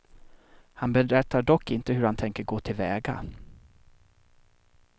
Han berättar dock inte hur han tänker gå till väga.